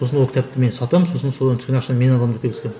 сосын ол кітапты мен сатамын сосын содан түскен ақшаны мен аламын деп келіскемін